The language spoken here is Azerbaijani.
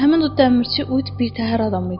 həmin o dəmirçi uyut bir təhər adam idi.